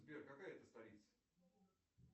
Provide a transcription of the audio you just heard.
сбер какая это столица